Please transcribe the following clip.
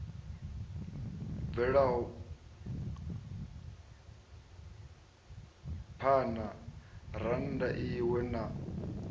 bvelaho phana rannda iwe na